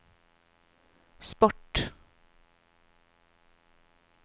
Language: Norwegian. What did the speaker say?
sport